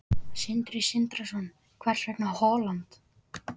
Sindri Sindrason: Hvers vegna Holland?